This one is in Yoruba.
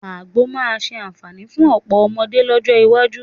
Àgbò máa ṣe àǹfààní fún ọ̀pọ̀ ọmọdé lọ́jọ́ iwájú